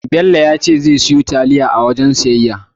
Bello ya ce zai siyo taliya a wajen siyayya.